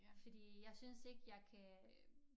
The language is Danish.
Fordi jeg synes ikke jeg kan øh